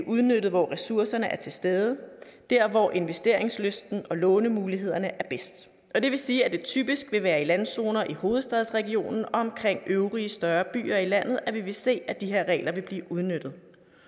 udnyttet hvor ressourcerne er til stede der hvor investeringslysten og lånemulighederne er bedst det vil sige at det typisk vil være i landzoner i hovedstadsregionen og omkring øvrige større byer i landet at vi vil se at de her regler vil blive udnyttet